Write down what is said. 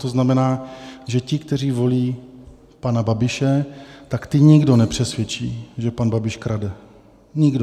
To znamená, že ti, kteří volí pana Babiše, tak ty nikdo nepřesvědčí, že pan Babiš krade, nikdo.